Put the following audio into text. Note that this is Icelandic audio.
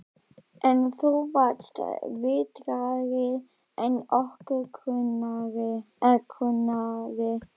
En þú varst vitrari en okkur grunaði.